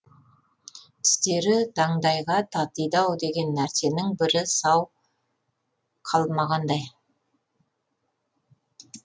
тістері таңдайға татиды ау деген нәрсенің бірі сау қалмағандай